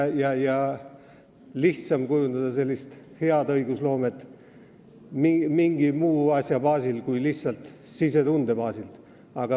Sel juhul on lihtsam tagada hea õigusloome mingi muu asja baasil kui lihtsalt sisetunde baasil.